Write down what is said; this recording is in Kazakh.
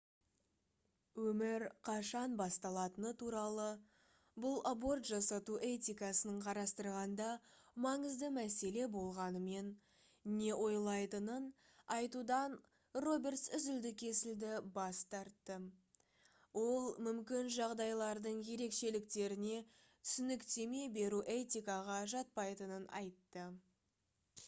өмір қашан басталатыны туралы бұл аборт жасату этикасын қарастырғанда маңызды мәселе болғанымен не ойлайтынын айтудан робертс үзілді-кесілді бас тартты ол мүмкін жағдайлардың ерекшеліктеріне түсініктеме беру этикаға жатпайтынын айтты